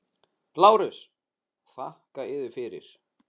LÁRUS: Þakka yður fyrir.